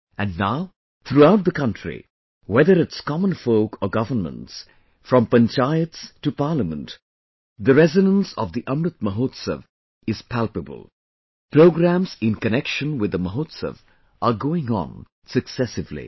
And now, throughout the country, whether it's common folk or governments; from Panchayats to Parliament, the resonance of the Amrit Mahotsav is palpable...programmes in connection with the Mahotsav are going on successively